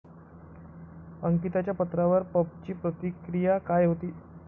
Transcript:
अंकिताच्या पत्रावर पबची प्रतिक्रिया काय होती?